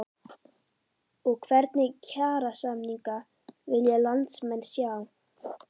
Og hvernig kjarasamninga vilja landsmenn sjá?